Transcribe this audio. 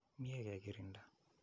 Mye ke kirinda.